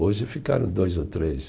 Hoje ficaram dois ou três.